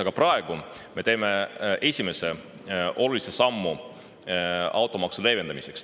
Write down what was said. Aga praegu me teeme esimese olulise sammu automaksu leevendamiseks.